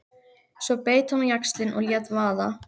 Svo beit hann á jaxlinn og lét vaða.